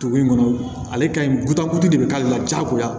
Tugu in kɔnɔ ale ka ɲi de bɛ k'ale la diyagoya